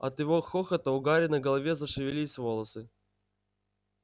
от его хохота у гарри на голове зашевелились волосы